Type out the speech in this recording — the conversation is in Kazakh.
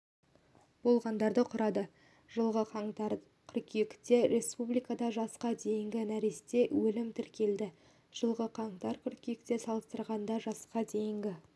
болғандарды құрады жылғы қаңтар-қыркүйекте республикада жасқа дейінгі нәресте өлімі тіркелді жылғы қаңтар-қыркүйекпен салыстырғанда жасқа дейінгі